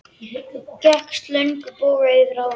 Þú gekkst í löngum boga yfir ána.